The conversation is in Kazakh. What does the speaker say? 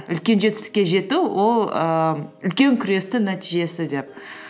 үлкен жетістікке жету ол ііі үлкен күрестің нәтижесі деп